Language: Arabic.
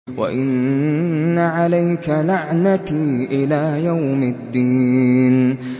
وَإِنَّ عَلَيْكَ لَعْنَتِي إِلَىٰ يَوْمِ الدِّينِ